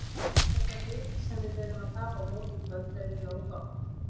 Þetta lið sem við erum að tapa á móti í kvöld er ekki nógu gott.